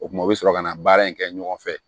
O kumana u bi sɔrɔ ka na baara in kɛ ɲɔgɔn fɛ